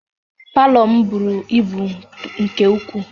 Palọ m buru ibu nke ukwuu